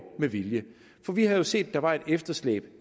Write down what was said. med vilje for vi havde set at der var et efterslæb